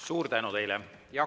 Suur tänu teile!